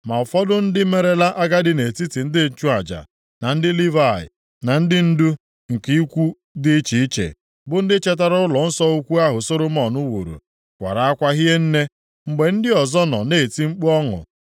Ma ụfọdụ ndị merela agadi nʼetiti ndị nchụaja, na ndị Livayị, na ndị ndu nke ikwu dị iche iche, bụ ndị chetara ụlọnsọ ukwu ahụ Solomọn wuru, kwara akwa hie nne, mgbe ndị ọzọ nọ na-eti mkpu ọṅụ.